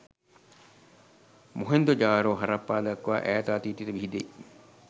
මොහෙන්දොජාරෝ හරප්පා දක්වා ඈත අතීතයට විහිදෙයි.